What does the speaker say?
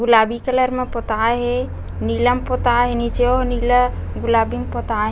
गुलाबी कलर में पोताल हे नीला में पोताय हे नीचे ओ नीला गुलाबी में पोताय --